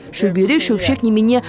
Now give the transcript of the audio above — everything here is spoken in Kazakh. шөбере шөпшек немене